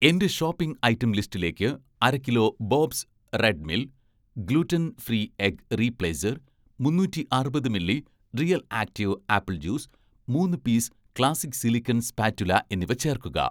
എന്‍റെ shopping item ലിസ്റ്റിലേക്ക് അര കിലോ 'Bob's Red Mill' gluten free egg replacer, മുന്നൂറ്റി അറുപത് milli 'Real Active' apple juice, മൂന്ന് പീസ് 'ക്ലാസ്സിക്' സിലിക്കൺ സ്പാറ്റുല എന്നിവ ചേർക്കുക